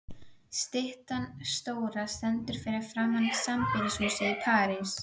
Styttan stóra stendur fyrir framan sambýlishúsið í París.